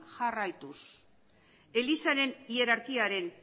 jarraituz elizaren hierarkiaren